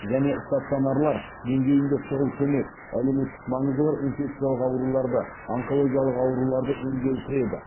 және стационарлар деңгейінде шұғыл көмек әлеуметтік маңызы бар инфекциялық ауруларды онкологиялық ауруларды емдеу кіреді